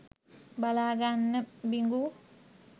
බලා ගන්න බිඟු.